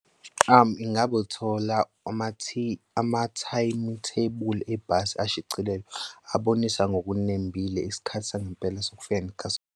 Ingabe ulithola ama-timetable ebhasi ashicilelwe abonisa ngokunembile isikhathi sangempela sokufika ngekhathi.